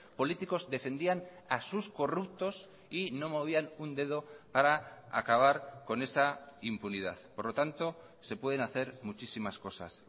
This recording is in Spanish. políticos defendían a sus corruptos y no movían un dedo para acabar con esa impunidad por lo tanto se pueden hacer muchísimas cosas